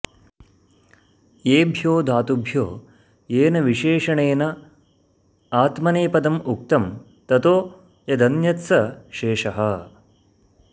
येभ्यो धातुभ्यो येन विशेषणेन आत्मनेपदम् उक्तं ततो यदन्यत् स शेषः